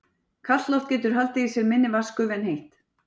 Kalt loft getur haldið í sér minni vatnsgufu en heitt.